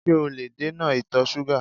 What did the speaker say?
Ṣé o lè dènà ìtọ̀ ṣúgà?